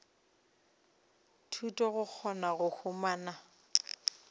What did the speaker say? thuto go kgona go humana